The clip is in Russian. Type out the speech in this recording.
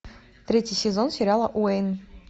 третий сезон сериала уэйн